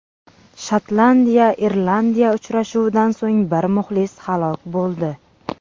Shotlandiya Irlandiya uchrashuvidan so‘ng bir muxlis halok bo‘ldi.